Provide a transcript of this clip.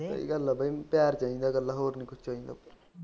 ਸਹੀ ਗੱਲ ਆ ਬਾਈ ਪਿਆਰ ਚਾਹੀਦਾ ਇਕੱਲਾ ਹੋਰ ਨਹੀਂ ਕੁਝ ਚਾਹੀਦਾ।